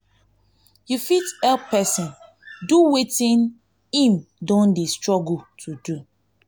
you fit help person do wetin im don dey struggle to do do